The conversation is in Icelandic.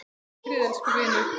Hvíl í friði, elsku vinur.